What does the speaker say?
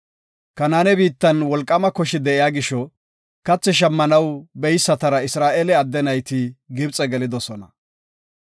Kanaane biittan wolqaama koshi de7iya gisho, kathi shammanaw beysatara Isra7eele adde nayti Gibxe gelidosona.